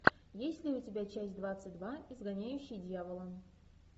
есть ли у тебя часть двадцать два изгоняющий дьявола